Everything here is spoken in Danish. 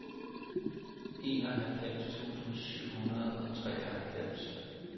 enoghalvfems tusind syv hundrede og treoghalvfems